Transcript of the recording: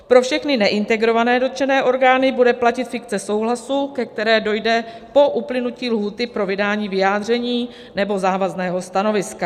Pro všechny neintegrované dotčené orgány bude platit fikce souhlasu, ke které dojde po uplynutí lhůty pro vydání vyjádření nebo závazného stanoviska.